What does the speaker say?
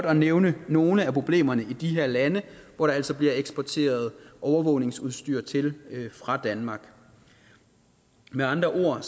at nævne nogle af problemerne i de her lande hvor der altså bliver eksporteret overvågningsudstyr til fra danmark med andre ord